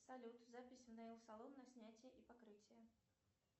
салют запись в нейл салон на снятие и покрытие